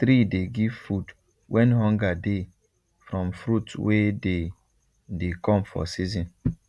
tree dey give food when hunger dey from fruit wey dey dey come for season